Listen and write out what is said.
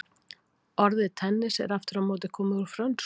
Orðið tennis er aftur á móti komið úr frönsku.